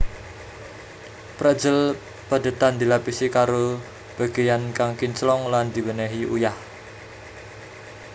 Pretzel padhetan dilapisi karo bagéyan kang kinclong lan diwènèhi uyah